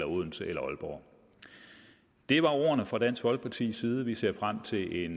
odense eller aalborg det var ordene fra dansk folkepartis side vi ser frem til en